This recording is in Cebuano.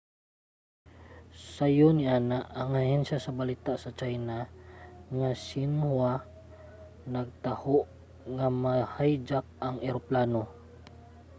sayo niana ang ahensya sa balita sa china nga xinhua nagtaho nga ma-hijack ang eroplano